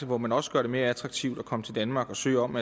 hvor man også gør det mere attraktivt at komme til danmark og søge om